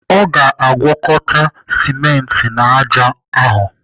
O ga-agwakọt simenti na ájá ahụ?